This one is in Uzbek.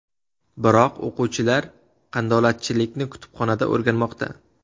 Biroq o‘quvchilar qandolatchilikni kutubxonada o‘rganmoqda.